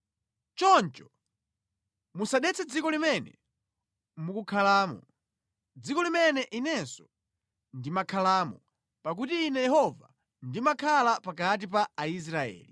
Choncho musadetse dziko limene mukukhalamo, dziko limene Inenso ndimakhalamo, pakuti Ine Yehova, ndimakhala pakati pa Aisraeli.’ ”